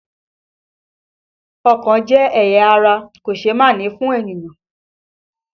Ọkàn jẹ́ ẹ̀yà ara kòṣeémánìí fún ènìyàn